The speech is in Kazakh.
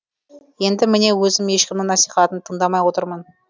енді міне өзім ешкімнің насихатын тыңдамай отырмын